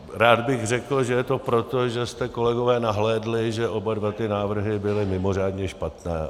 Rád bych řekl, že je to proto, že jste, kolegové nahlédli, že oba dva ty návrhy byly mimořádně špatné.